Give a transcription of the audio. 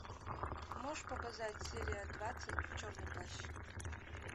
можешь показать серия двадцать черный плащ